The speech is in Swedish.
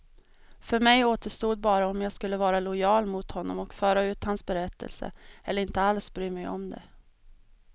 För mig återstod bara om jag skulle vara lojal mot honom och föra ut hans berättelse, eller inte alls bry mig om det.